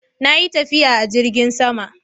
Na yi tafiya a jirgin sama.